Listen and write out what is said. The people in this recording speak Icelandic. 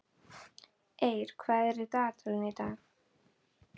Eir, hvað er á dagatalinu í dag?